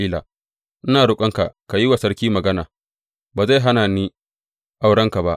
Ina roƙonka ka yi wa sarki magana; ba zai hana ni aurenka ba.